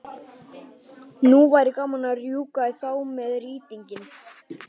Nú væri gaman að rjúka í þá með rýtinginn.